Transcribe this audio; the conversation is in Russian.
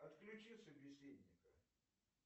отключи собеседника